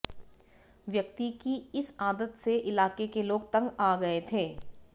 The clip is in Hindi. व्यक्ति की इस आदत से इलाके के लोग तंग आ गए थे